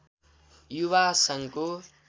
युवा सङ्घको